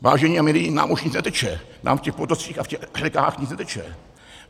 Vážení a milí, nám už nic neteče, nám v těch potocích a v těch řekách nic neteče.